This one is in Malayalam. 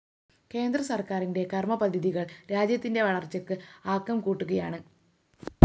കേന്ദ്ര സര്‍ക്കാരിന്റെ കര്‍മപദ്ധതികള്‍ രാജ്യത്തിന്റെ വളര്‍ച്ചക്ക് ആക്കംകൂട്ടുകയാണ്